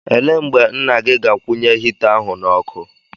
Ele mgbe nna gị ga-akwụnye hita ahụ n'ọkụ?